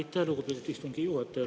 Aitäh, lugupeetud istungi juhataja!